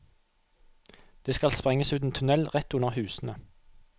Det skal sprenges ut en tunnel rett under husene.